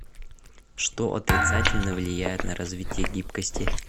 что отрицательно влияет на развитие гибкости